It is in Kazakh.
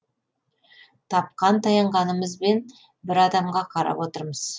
тапқан таянғанымызбен бір адамға қарап отырмыз